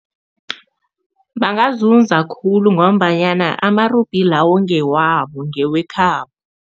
Bangazuza khulu ngombanyana amarubhi lawo ngewabo, ngewekhabo.